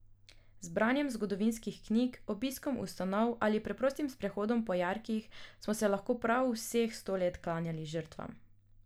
Z branjem zgodovinskih knjig, obiskom ustanov ali preprostim sprehodom po jarkih smo se lahko prav vseh sto let klanjali žrtvam.